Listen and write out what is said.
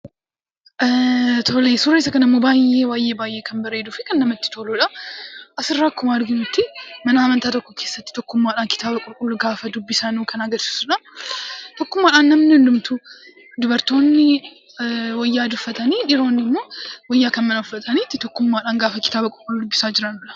Suuraan isa kunimmoo baay'ee kan nama gammachiisuufi baay'ee baay'ee namatti toludha. Asirraa akkuma arginutti mana amantaa tokkoo keessaa tokkummaadhaan kitaaba qulqulluu gaafa dubbisanu kan agarsiisudha. Tokkummaadhaan namni hundumtuu, dubartoonni wayyaa adii uffatanii, dhiironni immoo wayyaa kan biraa uffatanii tokkummaadhaan gaafa kitaaba qulqulluu dubbisaa jiranidha.